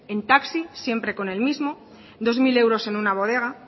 en taxi siempre con el mismo dos mil euros en una bodega